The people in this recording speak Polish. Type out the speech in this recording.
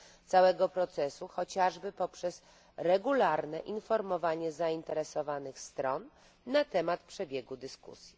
całego procesu chociażby poprzez regularne informowanie zainteresowanych stron na temat przebiegu dyskusji.